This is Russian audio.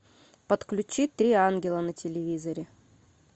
подключи три ангела на телевизоре